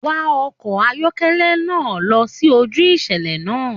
Wá ọkọ ayọkẹlẹ náà lọ sí ojú ìṣẹlẹ náà!